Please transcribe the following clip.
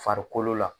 Farikolo la